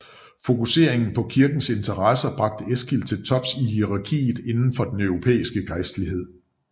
Fokuseringen på kirkens interesser bragte Eskil til tops i hierarkiet inden for den europæiske gejstlighed